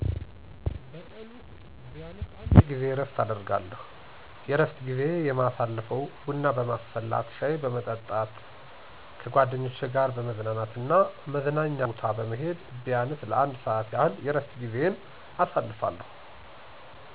በቀን ውስጥ ቢያንሰ አንድ ጊዜ እረፍት አደርጋለሁ። የእረፍት ጊዜዪ የማሳልፈው ቡና በማስፈላት፣ ሻይ በመጠጣት፣ ከጓደኞቼ ጋር በመዝናናት እና መዝናኛ ቦታ በመሄድ ቢያንስ ለአንድ ሰዓት ያህል የእረፍት ጊዜየን አሳልፋለሁ።